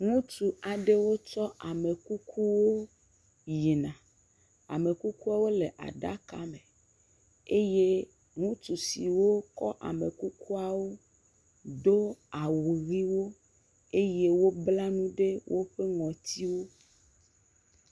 ŋutsu aɖewo kɔ amekuku yina ame kukuwɔ le aɖaka me eye ŋutsu siwó kɔ amekukuawo dó awu hiwo eye wó bla enu ɖe wóƒe ŋɔtinu